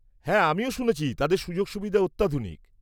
হ্যাঁ, আমিও শুনেছি তাদের সুযোগ সুবিধা অত্যাধুনিক।